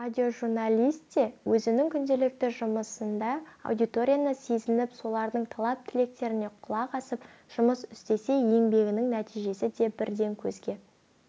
радиожурналист те өзінің күнделікті жұмысында аудиторияны сезініп солардың талап-тілектеріне құлақ асып жұмыс істесе еңбегінің нәтижесі де бірден көзге